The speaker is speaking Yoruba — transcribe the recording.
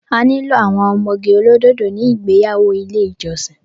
A nílò àwọn ọmọge olódòdó ní ìgbéyàwó ilé ìjọsìn